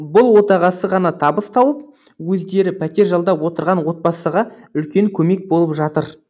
бұл отағасы ғана табыс тауып өздері пәтер жалдап отырған отбасыға үлкен көмек болып жатыр